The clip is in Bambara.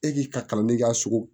E k'i ka kalanden ka sogo